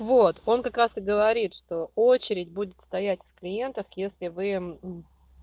вот он как раз и говорит что очередь будет стоять с клиентов если вы